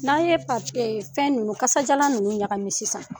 N'a ye pa fɛn ninnu kasadiyalan ninnu ɲagami sisan